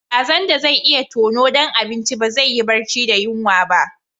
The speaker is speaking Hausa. Kazan da zai iya tono dan abinci ba zai yi barci da yunwa ba.